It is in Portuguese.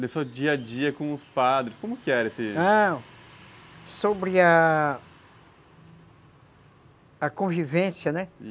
do seu dia-a-dia com os padres, como que era esse... Ah, sobre a... a convivência, né?